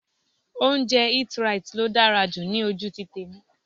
Oúnjẹ Eat-right ló dára jù ní ojú tèmi.